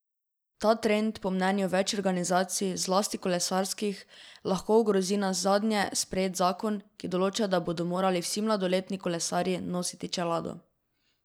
Ta trend po mnenju več organizacij, zlasti kolesarskih, lahko ogrozi nazadnje sprejet zakon, ki določa, da bodo morali vsi mladoletni kolesarji nositi čelado.